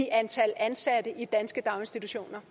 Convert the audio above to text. antallet af ansatte i de danske daginstitutioner